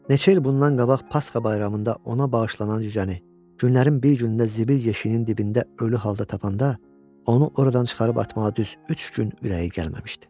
Neçə il bundan qabaq Pasxa bayramında ona bağışlanan cücəni günlərin bir günündə zibil yeşiyinin dibində ölü halda tapanda, onu oradan çıxarıb atmağa düz üç gün ürəyi gəlməmişdi.